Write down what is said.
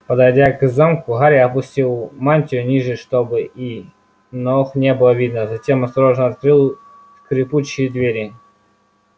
подойдя к замку гарри опустил мантию ниже чтобы и ног не было видно затем осторожно открыл скрипучие двери